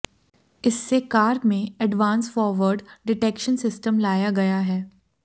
इससे कार में advance forward detection system लाया गया है